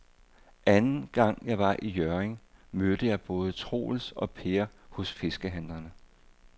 Anden gang jeg var i Hjørring, mødte jeg både Troels og Per hos fiskehandlerne.